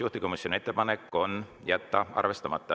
Juhtivkomisjoni ettepanek on jätta arvestamata.